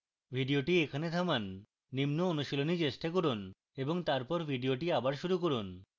video এখানে থামান নিম্ন অনুশীলনী চেষ্টা করুন এবং তারপর video আবার শুরু করুন